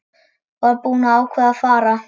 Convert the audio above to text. Var búin að ákveða að fara.